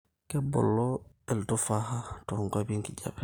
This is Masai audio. kebulu irtufaha too nkuapi enkijape